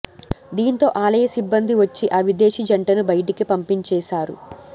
దీంతో ఆలయ సిబ్బంది వచ్చి ఆ విదేశీ జంటను బయటికి పంపించేశారు